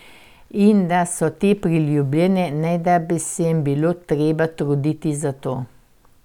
In da so te priljubljene, ne da bi se jim bilo treba truditi za to.